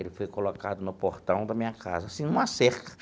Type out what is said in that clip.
Ele foi colocado no portão da minha casa, assim, numa cerca.